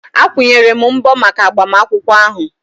Akwụnyere m mbọ maka agbamakwụkwọ ahụ